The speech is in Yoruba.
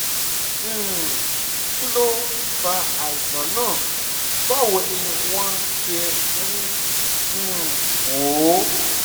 um kí ló fa àìsàn náà báwo ni wọ́n ṣe ń um wò ó?